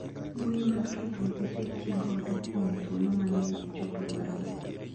Mbui mag tudruok osetigodo kuom thuolo mang`eny echopo dwaro no.